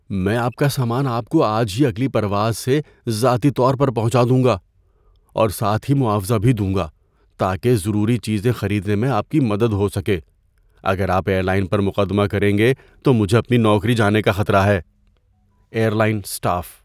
میں آپ کا سامان آپ کو آج ہی اگلی پرواز سے ذاتی طور پر پہنچا دوں گا، اور ساتھ ہی معاوضہ بھی دوں گا تاکہ ضروری چیزیں خریدنے میں آپ کی مدد ہو سکے۔ اگر آپ ایئر لائن پر مقدمہ کریں گے تو مجھے اپنی نوکری جانے کا خطرہ ہے۔ (ایئر لائن اسٹاف)